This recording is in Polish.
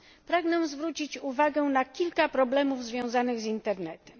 Pragnę zwrócić uwagę na kilka problemów związanych z Internetem.